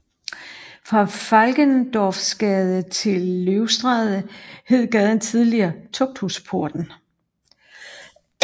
Fra Valkendorfsgade til Løvstræde hed gaden tidligere Tugthusporten